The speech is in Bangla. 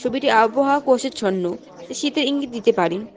ছবিটি আবহাওয়া কুয়াশাচ্ছন্ন যা শীতের ইঙ্গিত দিতে পারে।